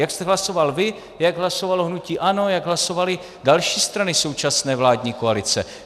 Jak jste hlasoval vy, jak hlasovalo hnutí ANO, jak hlasovaly další strany současné vládní koalice.